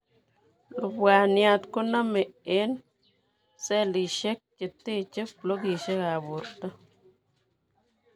Lubwaniat konomee eng' cellisiek cheteche blokisiek ab borto